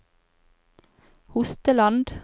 Hosteland